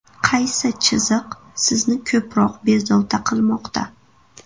Qaysi chiziq sizni ko‘proq bezovta qilmoqda?